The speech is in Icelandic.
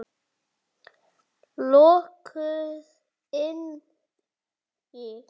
Lokuð inni.